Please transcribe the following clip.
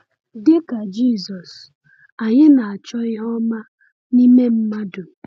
Dị ka Jisọs, anyị na-achọ ihe ọma n’ime mmadụ.